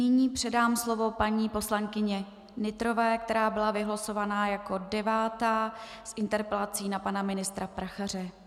Nyní předám slovo paní poslankyni Nytrové, která byla vylosovaná jako devátá s interpelací na pana ministra Prachaře.